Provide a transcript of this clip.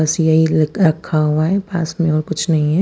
बस येही रखा हुआ है पास में और कुछ नही है।